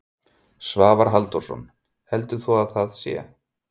Svavar Halldórsson: Heldur þú að það sé?